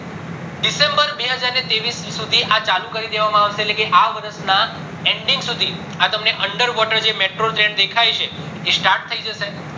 december બે હજાર ત્રેવીસ સુધી આ ચાલુ કરી દેવામાં આવશે લેકે આ વર્ષ ના ending સુધી આ તમને જે under water metro train દેખાય છે એ start થય જશે